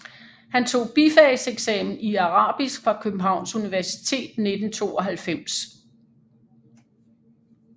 Han tog bifagseksamen i arabisk fra Københavns Universitet 1992